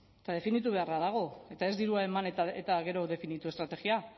eta definitu beharra dago eta ez dirua eman eta gero definitu estrategia